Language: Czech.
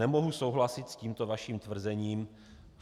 Nemohu souhlasit s tímto vaším tvrzením.